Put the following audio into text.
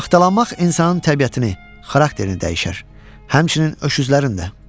Axtalanmaq insanın təbiətini, xarakterini dəyişər, həmçinin öküzlərin də.